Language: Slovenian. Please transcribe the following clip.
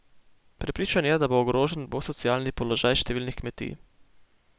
Prepričan je, da bo ogrožen bo socialni položaj številnih kmetij.